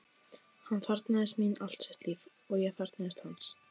Hann þarfnaðist mín allt sitt líf, og ég þarfnaðist hans.